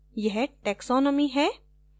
यह taxonomy है